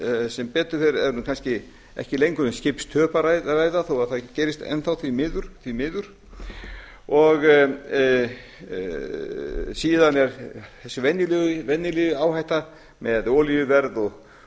sem betur fer er kannski ekki lengur um skipstöp að ræða þó það gerist enn þá því miður og síðan er þessi venjulega áhætta með olíuverð